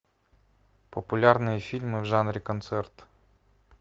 популярные фильмы в жанре концерт